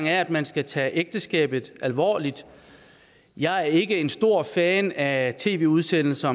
er at man skal tage ægteskabet alvorligt jeg er ikke en stor fan af tv udsendelser